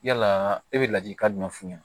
Yala e bɛ ladilikan jumɛn f'u ɲɛna